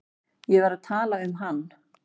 Ég var að tala um hann.